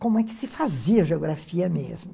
Como é que se fazia geografia mesmo?